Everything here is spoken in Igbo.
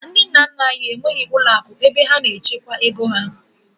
Ndị nna nna anyị enweghị ụlọakụ ebe ha na-echekwa ego